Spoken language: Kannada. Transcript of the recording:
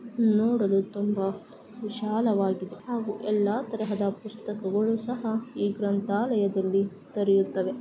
ನೋಡಲು ತುಂಬಾ ವಿಷಾಲವಾಗಿದೆ ಹಾಗು ಎಲ್ಲಾ ತರಹದ ಪುಸ್ತಕಗಳು ಸಹ ಈ ಗ್ರಂಥಾಲಯದಲ್ಲಿ ದೊರೆಯುತ್ತವೆ .